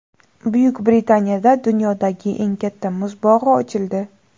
Buyuk Britaniyada dunyodagi eng katta muz bog‘i ochildi .